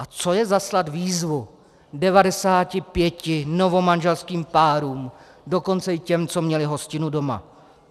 A co je zaslat výzvu 95 novomanželským párům, dokonce i těm, co měli hostinu doma?